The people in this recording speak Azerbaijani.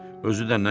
Özü də nə qədər?